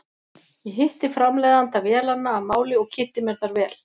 Ég hitti framleiðanda vélanna að máli og kynnti mér þær vel.